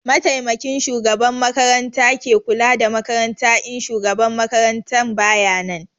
Mataimakin shugaban makaranta ke kula da makaranta in shugaban makarantan bayanan